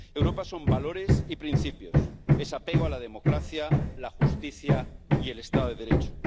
Europa son valores y principios, es apego a la democracia, la justicia y el Estado de Derecho.